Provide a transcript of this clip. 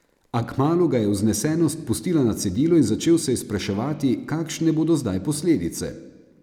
A kmalu ga je vznesenost pustila na cedilu in začel se je spraševati, kakšne bodo zdaj posledice.